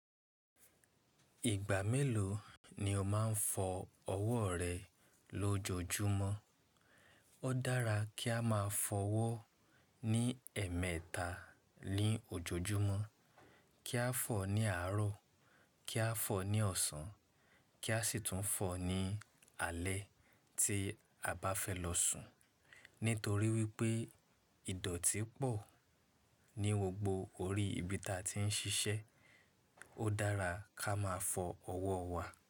Ìgbà mélòó ni o máa ń fọ ọwọ́ rẹ lójoojúmọ́? Ó dára kí a máa fọ ọwọ́ ní ẹ̀ẹ̀mẹta ní ojoojúmọ́. Kí a fọ̀ ní àárọ̀, kí a fọ̀ ní ọ̀sán, kí a sì tún fọ̀ ní alẹ́ tí a bá fẹ́ lọ sùn. Nítorí wípé ìdọ̀tí pọ̀ ní gbogbo orí ibi ta ti ń ṣiṣẹ́. Ó dára ká máa fo owó wà.